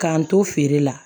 K'an to feere la